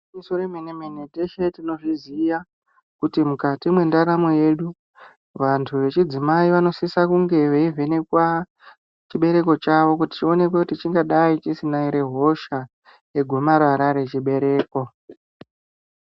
Gwinyiso remene mene teshe tinozviziva kuti mukati mendaramo yedu vantu vechidzimai vanosisa kunge vechivhenekwa chibereko chavo chionekwe kuti chingadai chisina hosha yegomarara remuchibereko.